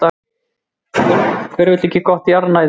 Hver vill ekki gott jarðnæði?